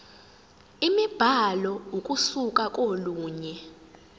imibhalo ukusuka kolunye